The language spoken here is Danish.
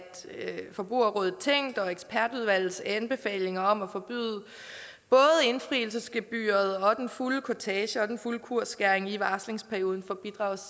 forbrugerrådet tænk og ekspertudvalgets anbefalinger om at forbyde både indfrielsesgebyret og den fulde kurtage og den fulde kursskæring i varslingsperioden for